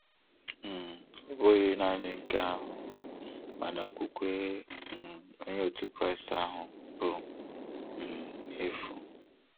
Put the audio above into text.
um Ọ bụghị nanị nke ahụ, mana okwukwe um Onye otu Kraịst ahụ bụ um n'efu.